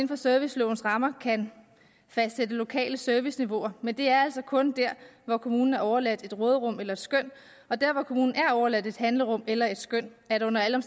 for servicelovens rammer kan fastsætte lokale serviceniveauer men det er altså kun der hvor kommunen er overladt et råderum eller et skøn og der hvor kommunen er overladt et handlerum eller et skøn er der under alle